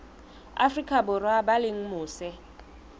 afrika borwa ba leng mose